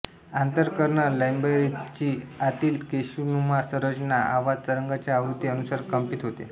आन्तर कर्ण लैबरिंथ ची अातील केशनुमा संरचना आवाज़ तरंगांच्या आवृति अनुसार कम्पित होते